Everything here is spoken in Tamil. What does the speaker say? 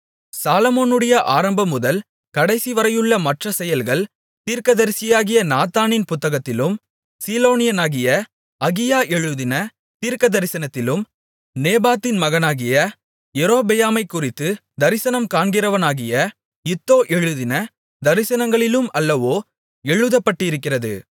சாலொமோனுடைய ஆரம்பம்முதல் கடைசிவரையுள்ள மற்ற செயல்கள் தீர்க்கதரிசியாகிய நாத்தானின் புத்தகத்திலும் சீலோனியனாகிய அகியா எழுதின தீர்க்கதரிசனத்திலும் நேபாத்தின் மகனாகிய யெரொபெயாமைக்குறித்து தரிசனம் காண்கிறவனாகிய இத்தோ எழுதின தரிசனங்களிலும் அல்லவோ எழுதப்பட்டிருக்கிறது